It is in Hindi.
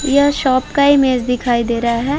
यह शॉप का इमेज दिखाई दे रहा है।